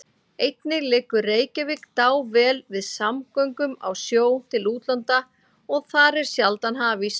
Einnig liggur Reykjavík dável við samgöngum á sjó til útlanda og þar er sjaldan hafís.